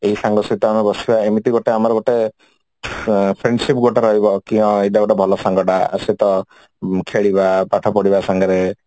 ଏଇ ସାଙ୍ଗ ସହିତ ଆମେ ବସିବା ଏମିତି ଗୋଟେ ଆମର ଗୋଟେ friendship ଗୋଟେ ରହିବା କି ଏଇଟା ଗୋଟେ ଭଲ ସାଙ୍ଗ ଟା ୟା ସହିତ ଖେଳିବା ପାଠ ପଢିବା ସାଙ୍ଗରେ